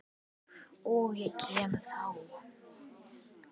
OK, ég kem þá!